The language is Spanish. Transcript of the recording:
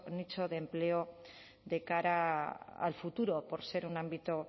nicho de empleo de cara al futuro por ser un ámbito